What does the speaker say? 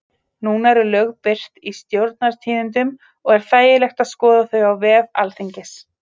Núna eru lög birt í Stjórnartíðindum og er þægilegt að skoða þau á vef Alþingis.